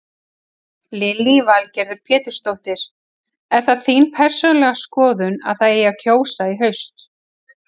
Lillý Valgerður Pétursdóttir: Er það þín persónulega skoðun að það eigi að kjósa í haust?